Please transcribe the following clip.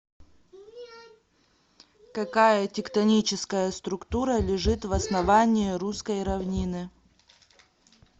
какая тектоническая структура лежит в основании русской равнины